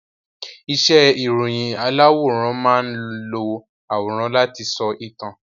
Iṣẹ́ ìròyìn aláwòrán máán lo àwòrán láti sọ ìtàn